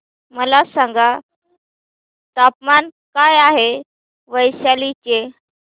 मला सांगा तापमान काय आहे वैशाली चे